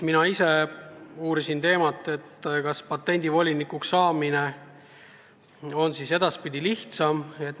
Mina ise uurisin, kas patendivolinikuks saada on edaspidi lihtsam.